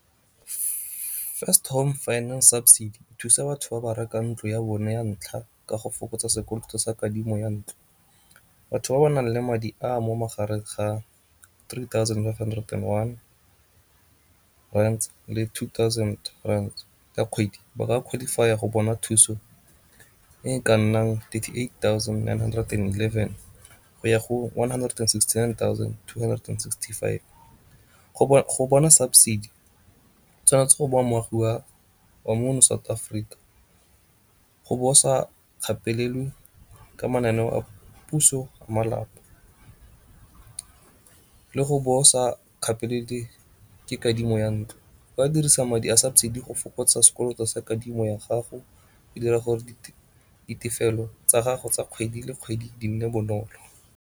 First home finance subsidy e thusa batho ba ba rekang ntlo ya bona ya ntlha ka go fokotsa sekoloto sa kadimo ya ntlo. Batho ba ba nang le madi a mo magareng ga three thousand five hundred and one rands le two thousand rands ka kgwedi ba ka qualifier go bona thuso e ka nnang thirty eight thousand nine hundred and eleven go ya go one hundred and sixty nine thousand two hundred and sixty five. Go bona subsidy o tshwanetse go ba moagi wa mono South Africa, go bosa kgapelelwe ka mananeo a puso a malapa, le go bo sa kgapelele ke kadimo ya ntlo. O ka dirisa madi a subsidy go fokotsa sekoloto sa kadimo ya gago go dira gore ditefelelo tsa gago tsa kgwedi le kgwedi di nne bonolo.